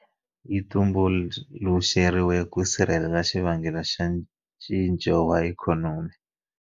Yi tumbuluxeriwile ku sirhelela xivangelo xa ncinco wa ikhonomi.